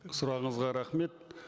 сұрағыңызға рахмет